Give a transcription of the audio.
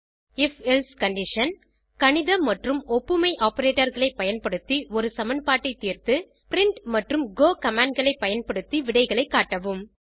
if else condition கணித மற்றும் ஒப்புமை operatorகளை பயன்படுத்தி ஒரு சமன்பாட்டை தீர்த்து பிரின்ட் மற்றும் கோ commandகளை பயன்படுத்தி விடைகளை காட்டவும்